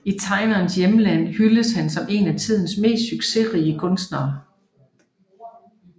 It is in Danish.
I tegnerens hjemland hyldes han som en af tidernes mest succesrige kunstnere